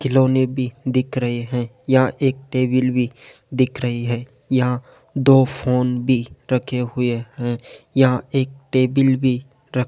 खिलौने भी दिख रहे हैं यहां एक टेबल भी दिख रही है यहां दो फोन भी रखे हुए हैं यहां एक टेबिल भी रख --